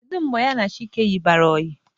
Kedụ mgbe ya na Chike yibarụ ọyi?